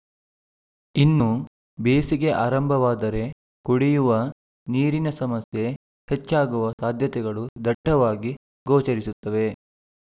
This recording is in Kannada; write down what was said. ಇನ್ನು ಬೇಸಿಗೆ ಆರಂಭವಾದರೆ ಕುಡಿಯುವ ನೀರಿನ ಸಮಸ್ಯೆ ಹೆಚ್ಚಾಗುವ ಸಾಧ್ಯತೆಗಳು ದಟ್ಟವಾಗಿ ಗೋಚರಿಸುತ್ತವೆ